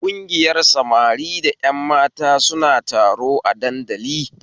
Kungiyar samari da ƴan mata suna taro a dandali